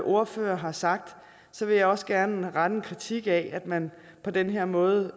ordførere har sagt vil jeg også gerne rette en kritik af at man på den her måde